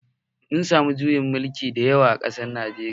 Mun samu juyin mulki da yawa a Najeriya